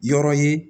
Yɔrɔ ye